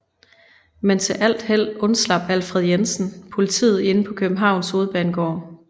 Men til alt held undslap Alfred Jensen politiet inde på Københavns Hovedbanegård